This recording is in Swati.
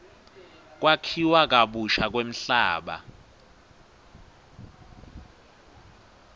kwakhiwa kabusha kwemhlaba